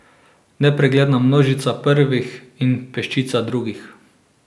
Nepregledna množica prvih in peščica drugih.